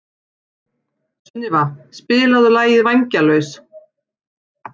Sunníva, spilaðu lagið „Vængjalaus“.